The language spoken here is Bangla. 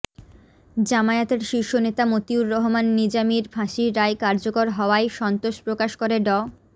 জামায়াতের শীর্ষ নেতা মতিউর রহমান নিজামীর ফাঁসির রায় কার্যকর হওয়ায় সন্তোষ প্রকাশ করে ড